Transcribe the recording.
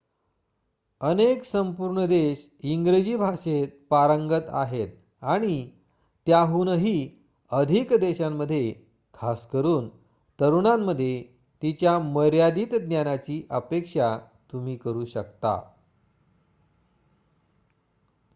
अनेक संपूर्ण देश इंग्रजी भाषेत पारंगत आहेत आणि त्याहूनही अधिक देशांमध्ये खासकरून तरुणांमध्ये तिच्या मर्यादित ज्ञानाची अपेक्षा तुम्ही करू शकता